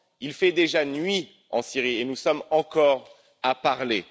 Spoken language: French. Il fait déjà nuit en Syrie et nous sommes encore à parler.